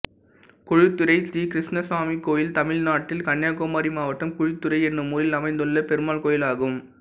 குழித்துறை ஸ்ரீகிருஷ்ணசுவாமி கோயில் தமிழ்நாட்டில் கன்னியாகுமரி மாவட்டம் குழித்துறை என்னும் ஊரில் அமைந்துள்ள பெருமாள் கோயிலாகும்